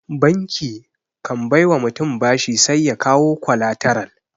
Banki kan bai wa mutum bashi sai ya kawo kwalataral.